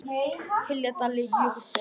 hylji dali jökull ber